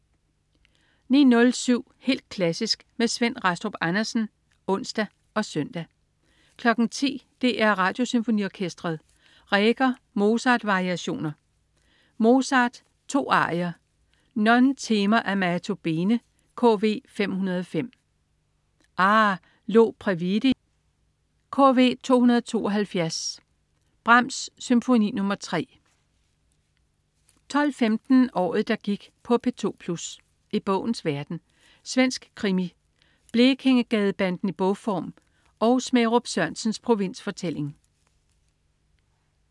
09.07 Helt klassisk med Svend Rastrup Andersen (ons og søn) 10.00 DR Radiosymfoniorkestret. Reger: Mozart-variationer. Mozart: 2 arier. Non temer amato bene, KV 505. Ah, lo previdi! KV 272. Brahms: Symfoni nr. 3 12.15 Året, der gik på P2 Plus. I bogens verden. Svensk krimi, Blekingegadebanden i bogform og Smærup Sørensens provinsfortælling